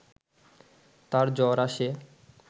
তার জ্বর আসে